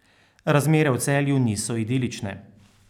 Razmere v Celju niso idilične.